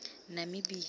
namibia